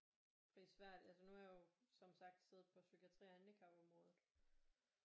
Prisværdigt altså nu har jo som sagt siddet på psykiatri-handicapområdet